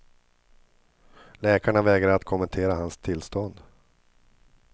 Läkarna vägrar att kommentera hans tillstånd.